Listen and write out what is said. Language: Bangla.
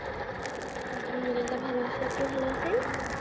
আল্লাহামদুল্লিয়া ভালো আছি আপনি ভালো আছেন